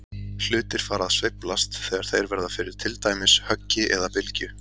Hlutir fara að sveiflast þegar þeir verða fyrir til dæmis höggi eða bylgju.